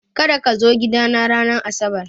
Kada kazo gidana ranar asabar!